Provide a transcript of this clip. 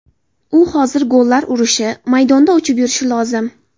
U hozir gollar urishi, maydonda uchib yurishi lozim.